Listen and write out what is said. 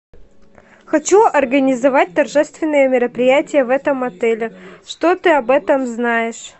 хочу организовать торжественное мероприятие в этом отеле что ты об этом знаешь